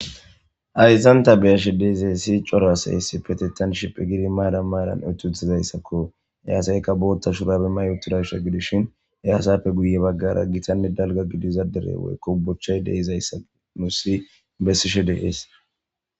Ayzanta beyashe deiza si cora asayessi petettan shiphe gidi maada maadan etutizayssakko e asaykka bootta shurabe ma yuturashsa gidishin eyasappe guye baggara gitanne dalga gidiza dere woykko bochchay deizayssa nu si bessishe deees